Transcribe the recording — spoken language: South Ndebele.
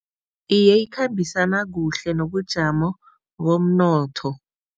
Iye, ikhambisana kuhle nobujamo bomnotho.